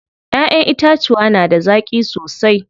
Ƴaƴen itacuwa da na zaƙi sosai.